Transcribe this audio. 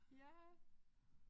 Ja